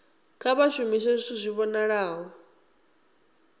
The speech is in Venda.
kha vha shumise zwithu zwi vhonalaho